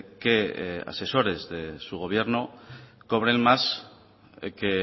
que asesores de su gobierno cobren más que